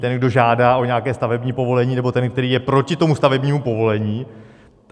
Ten, kdo žádá o nějaké stavební povolení, nebo ten, který je proti tomu stavebnímu povolení.